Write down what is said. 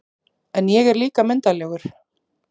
En ég er líka myndarlegur